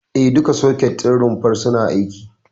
E, duka soket ɗin rumfar suna aiki.